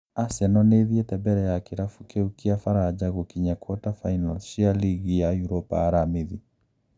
Arsenal nĩithiete mbere ya kirabu kiu kia Faraja gũkinya quater finals cia Ligi ya Uropa aramithi.